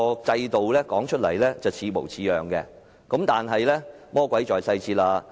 制度看來似模似樣，但魔鬼在細節中。